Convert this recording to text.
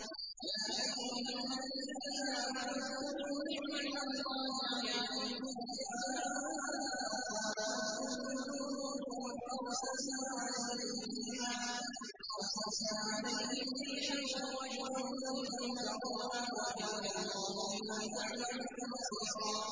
يَا أَيُّهَا الَّذِينَ آمَنُوا اذْكُرُوا نِعْمَةَ اللَّهِ عَلَيْكُمْ إِذْ جَاءَتْكُمْ جُنُودٌ فَأَرْسَلْنَا عَلَيْهِمْ رِيحًا وَجُنُودًا لَّمْ تَرَوْهَا ۚ وَكَانَ اللَّهُ بِمَا تَعْمَلُونَ بَصِيرًا